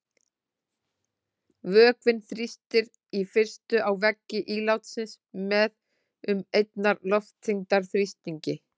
Vökvinn þrýstir í fyrstu á veggi ílátsins með um einnar loftþyngdar þrýstingi.